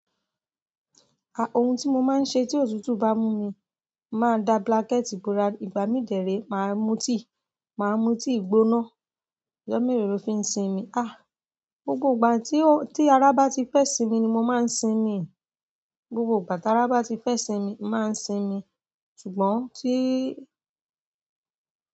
Ohun tí mo máa ń ṣe tí òtútù bá mú mi, máa da blanket bora, ìgbà mí dè ré, màá mu tíi, màá mu tíi gbigbona. Ojo melo lo fi ń sinmi. Gbogbo ìgbà tí ara bá ti fẹ́ ìsinmi ni mo máa ń sinmi. Gbogbo ìgbà ti ara bá ti fẹ́ ìsinmi, máa ń sinmi. Ṣùgbọ́n tí.